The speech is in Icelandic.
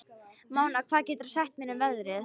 Mona, hvað geturðu sagt mér um veðrið?